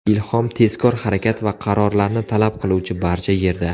Ilhom tezkor harakat va qarorlarni talab qiluvchi barcha yerda.